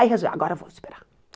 Aí resolveu, agora vamos esperar.